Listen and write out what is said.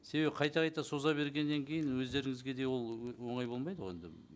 себебі қайта қайта соза бергеннен кейін өздеріңізге де ол оңай болмайды ғой енді